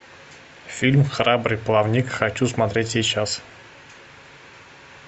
фильм храбрый плавник хочу смотреть сейчас